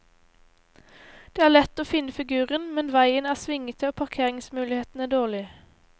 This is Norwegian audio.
Det er lett å finne figuren, men veien er svingete og parkeringsmulighetene dårlige.